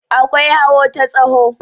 akwai hawo ta tsaho